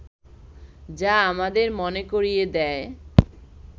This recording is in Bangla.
যা আমাদের মনে করিয়ে দেয়